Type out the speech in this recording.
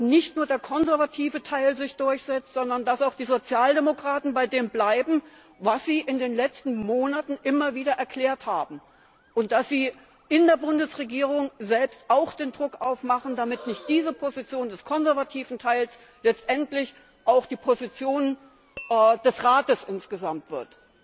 nicht nur der konservative Teil durchsetzt, sondern dass auch die Sozialdemokraten bei dem bleiben, was sie in den letzten Monaten immer wieder erklärt haben, und dass sie in der Bundesregierung selbst auch Druck machen, damit nicht diese Position des konservativen Teils letztendlich auch die Position des Rates insgesamt wird.